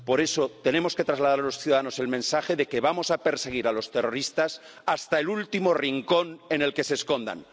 Por eso tenemos que trasladar a los ciudadanos el mensaje de que vamos a perseguir a los terroristas hasta el último rincón en el que se escondan.